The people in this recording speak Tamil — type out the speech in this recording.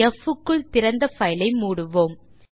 ப் க்குள் திறந்த பைல் ஐ மூடுவோம்